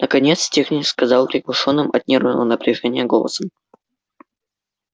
наконец техник сказал приглушённым от нервного напряжения голосом